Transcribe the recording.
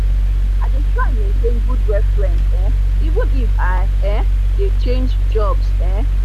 i dey try maintain good references um even if i um dey change jobs um